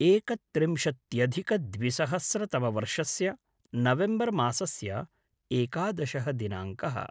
एकत्रिंशत्यधिद्विसहस्रतमवर्षस्य नवेम्बर् मासस्य एकादशः दिनाङ्कः